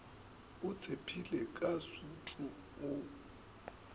o tšhepile ka sutu o